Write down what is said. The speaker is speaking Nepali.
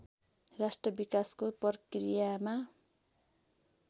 राष्ट्र विकासको प्रक्रियामा